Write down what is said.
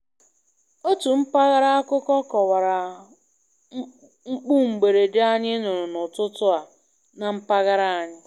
Otu mpaghra akụkọ kọwara mkpu mberede anyị nụrụ n'ụtụtụ a na mpaghara anyị.